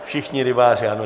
Všichni rybáři, ano.